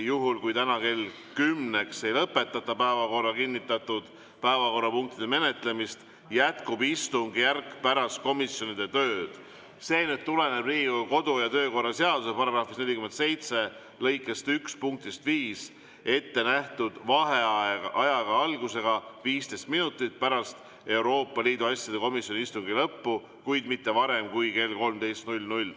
Juhul, kui täna kella 10‑ks ei lõpetata päevakorda kinnitatud päevakorrapunktide menetlemist, jätkub istungjärk pärast komisjonide tööd – see tuleneb Riigikogu kodu‑ ja töökorra seaduse § 47 lõike 1 punktist 5 –, ettenähtud vaheajaga, algusega 15 minutit pärast Euroopa Liidu asjade komisjoni istungi lõppu, kuid mitte varem kui kell 13.